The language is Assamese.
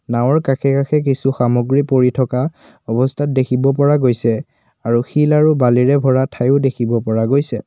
নাওঁৰ কাষে কাষে কিছু সামগ্ৰী পৰি থকা অৱস্থাত দেখিব পৰা গৈছে আৰু শিল আৰু বালিৰে ভৰা ঠাইও দেখিব পৰা গৈছে।